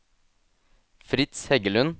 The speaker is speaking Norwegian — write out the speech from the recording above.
Fritz Heggelund